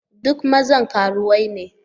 Duk maza karuwai ne.